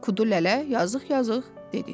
Qudu lələ yazıq-azıq dedi.